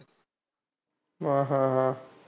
हा अह हा.